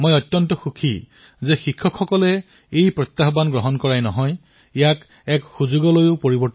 মই সুখী যে আমাৰ শিক্ষকসকলে এই প্ৰত্যাহ্বানক স্বীকাৰ কৰাই নহয় বৰঞ্চ ইয়াক অৱকাশলৈও পৰিৱৰ্তিত কৰিছে